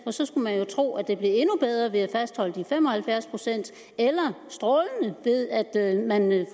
så skulle man jo tro at det blev endnu bedre ved at fastholde de fem og halvfjerds procent eller strålende ved at man